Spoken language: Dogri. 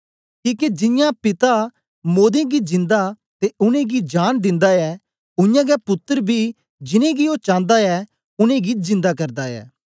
किके जियां पिता मोदें गी जिंदा ते उनेंगी जांन दिन्दा ऐ उयांगै पुत्तर बी जिनेंगी ओ चांदा ऐ उनेंगी जिंदा करदा ऐ